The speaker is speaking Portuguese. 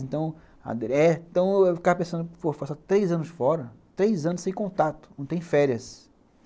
Então, eu ficava pensando, pô, eu faço há três anos fora, três anos sem contato, não tenho férias.